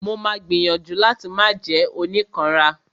Mo ma gbìyànjú láti máà jẹ́ oníkanra.